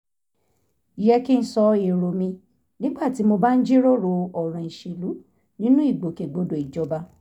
yẹ kí n sọ èrò mi nígbà tí mo bá ń jíròrò ọ̀ràn ìṣèlú nínú ìgbòkègbodò ìjọba